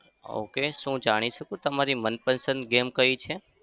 Okay શું હું જાણી શકું તમારી મનપસંદ game કઈ છે?